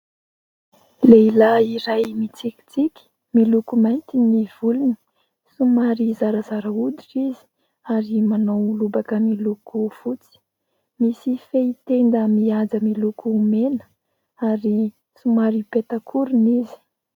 Lehilahy iray mitsikitsiky, miloko mainty ny volony, somary zarazara hoditra izy ary manao lobaka miloko fotsy. Misy fehin-tenda mihaja miloko mena ary somary peta-korona izy.